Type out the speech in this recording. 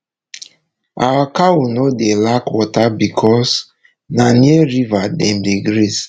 our cow nor dey lack water becos na near river dem dey graze